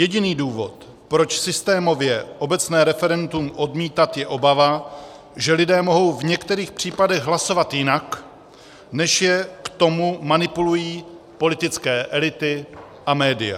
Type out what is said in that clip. Jediný důvod, proč systémově obecné referendum odmítat, je obava, že lidé mohou v některých případech hlasovat jinak, než je k tomu manipulují politické elity a média.